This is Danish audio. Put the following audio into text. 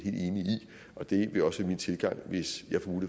og det vil også være min tilgang hvis jeg